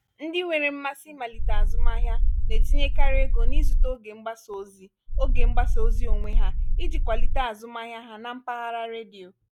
ndị nwere mmasị ịmalite azụmahịa na-etinyekarị ego n’ịzụta oge mgbasa ozi oge mgbasa ozi onwe ha iji kwalite azụmahịa ha na mpaghara redio.